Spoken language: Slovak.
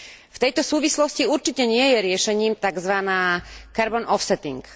V tejto súvislosti určite nie je riešením takzvaná carbon offsetting